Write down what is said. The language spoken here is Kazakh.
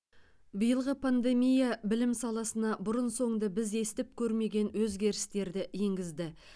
биылғы пандемия білім саласына бұрын соңды біз естіп көрмеген өзгерістерді енгізді